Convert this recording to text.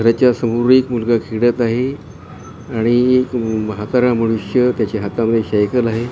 रच्या समोर एक मुलगा खेळत आहे आणि म्हातारा मनुष्य त्याच्या हाता मध्ये सायकल आहे तो बाहेरून --